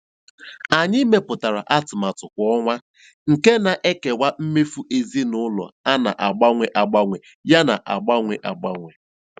Anyị mepụtara atụmatụ kwa ọnwa nke na-ekewa mmefu ezinụlọ a na-agbanwe agbanwe yana agbanwe agbanwe.